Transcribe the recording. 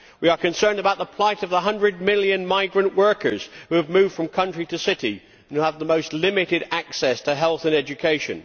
We are concerned about the plight of the 100 million migrant workers who have moved from country to city and who have the most limited access to health and education.